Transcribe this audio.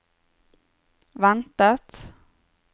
ventet